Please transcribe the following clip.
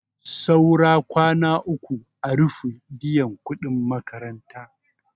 Saura kwana uku a rufe biyan kuɗin makaranta.